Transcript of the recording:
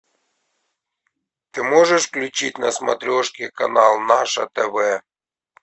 ты можешь включить на смотрешке канал наше тв